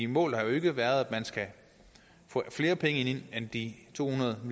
målet har jo ikke været at man skal få flere penge ind end de to hundrede